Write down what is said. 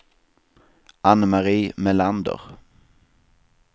Ann-Mari Melander